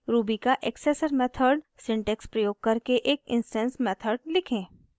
ruby का accessor method syntax प्रयोग करके एक इंस्टैंस मेथड लिखें